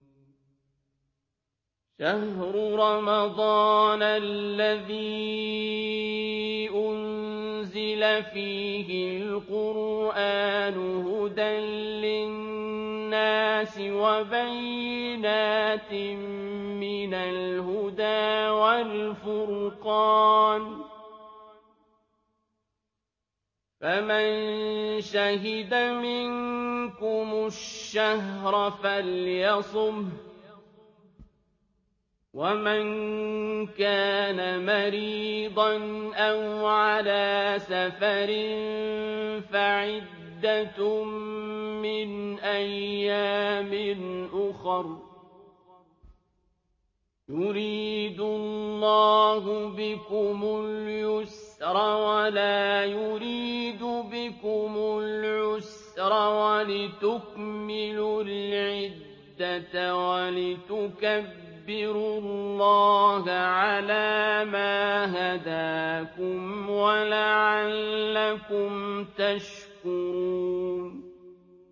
شَهْرُ رَمَضَانَ الَّذِي أُنزِلَ فِيهِ الْقُرْآنُ هُدًى لِّلنَّاسِ وَبَيِّنَاتٍ مِّنَ الْهُدَىٰ وَالْفُرْقَانِ ۚ فَمَن شَهِدَ مِنكُمُ الشَّهْرَ فَلْيَصُمْهُ ۖ وَمَن كَانَ مَرِيضًا أَوْ عَلَىٰ سَفَرٍ فَعِدَّةٌ مِّنْ أَيَّامٍ أُخَرَ ۗ يُرِيدُ اللَّهُ بِكُمُ الْيُسْرَ وَلَا يُرِيدُ بِكُمُ الْعُسْرَ وَلِتُكْمِلُوا الْعِدَّةَ وَلِتُكَبِّرُوا اللَّهَ عَلَىٰ مَا هَدَاكُمْ وَلَعَلَّكُمْ تَشْكُرُونَ